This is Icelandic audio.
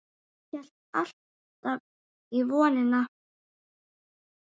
Ég hélt alltaf í vonina.